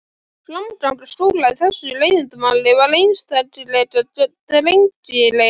Framganga Skúla í þessu leiðindamáli var einstaklega drengileg.